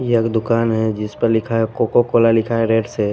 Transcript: ये एक दुकान हैजिस पर लिखा है कोका कोला लिखा है रेड से--